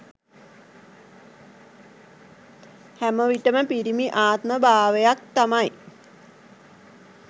හැමවිටම පිරිමි ආත්ම භාවයක් තමයි